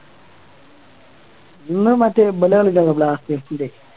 ഇന്ന് മറ്റേ ഇവര് കളിക്കാനുണ്ടോ blasters ൻ്റെ